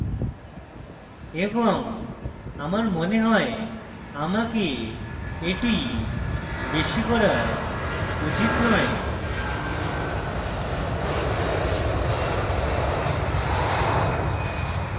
এবং আমার মনে হয় আমাকে এটি বেশী করা উচিত নয়